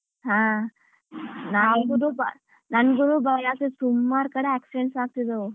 ಹಾ ನಂಗೂನೂ ಭಯ ಸುಮಾರ್ ಕಡೆ ಬಾರಿ accidents ಆಗ್ತಿದ್ದಾವ್.